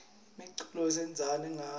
imiculo sidansa ngayo